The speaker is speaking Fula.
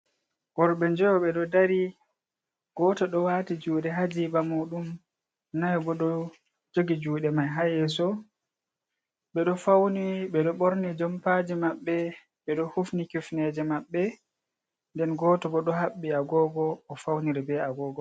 Worɓe njoyo ɓe ɗo dari goto ɗo wati juɗe hajiba muɗum nayo bo ɗo jogi juɗe mai ha yeso, ɓeɗo ɓorni jompaji maɓɓe, ɓeɗo hufni kifneje maɓɓe nden goto bo ɗo haɓɓi agogo o fauniri be agogo.